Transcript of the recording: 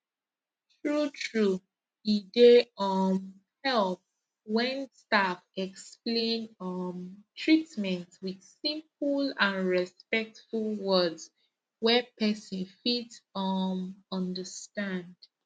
truetrue e dey um help when staff explain um treatment with simple and respectful words wey person fit um understand